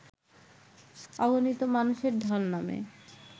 অগণিত মানুষের ঢল নামে